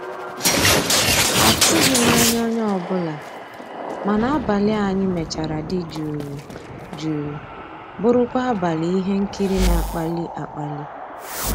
àtụ́ghị́m ànyá onye ọ́bụ́la, mana àbàlí ànyị́ mechara dị́ jụ́ụ́ jụ́ụ́ bụ́rụ́kwa àbàlí íhé nkírí ná-àkpàlí àkpàlí.